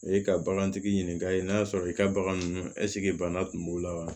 O ye ka bagan tigi ɲininka ye n'a y'a sɔrɔ i ka bagan nunnu bana tun b'o la wa